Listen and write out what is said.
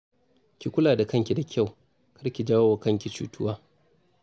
Ki kula da kanki da kyau, kar ki jawo wa kanki cutuwa